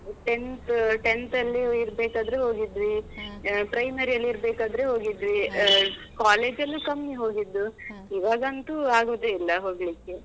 Tenth tenth ಲ್ಲಿ ಇರ್ಬೇಕಾದ್ರೆ ಹೋಗಿದ್ವಿ. primary ಯಲ್ಲಿ ಇರ್ಬೇಕಾದ್ರೆ ಹೋಗಿದ್ವಿ. ಆ college ಲ್ಲಿ ಕಮ್ಮಿ ಹೋಗಿದ್ದು. ಇವಾಗಂತೂ ಆಗುದೇ ಇಲ್ಲಾ ಹೋಗ್ಲಿಕೆ.